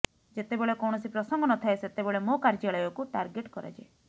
ଯେତେବେଳେ କୌଣସି ପ୍ରସଙ୍ଗ ନଥାଏ ସେତେବେଳେ ମୋ କାର୍ଯ୍ୟାଳୟକୁ ଟାର୍ଗଟେ୍ କରାଯାଏ